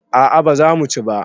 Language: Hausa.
a a ba za mu ci ba